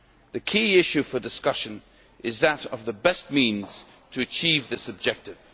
The key issue for discussion is that of the best means to achieve this objective.